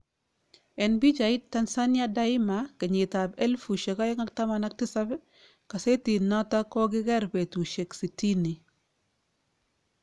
En pichait, Tanzania Daima, kenyitb ab 2017, kasetit noton kokiker betusiek sitini